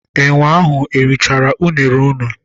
Enwe ahụ erichara unere unu?